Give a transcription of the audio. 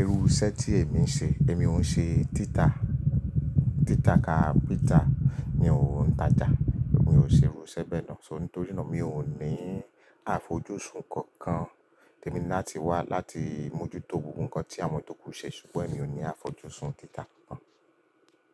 Irú iṣẹ́ tí èmi ń ṣe, èmi ò ń ṣe títa. Títa ka pita mi ò ń tajà. Mi ò ṣe irú iṣẹ́ bẹ́ẹ̀ ná. So nítorí nà mi ò ní àfojúsùn kankan. Tẹ mi ní náà ti wà láti mójútó ohun kan tí àwọn tòkù ṣe ṣùgbọ́n èmi ò ní àfojúsùn títa kan.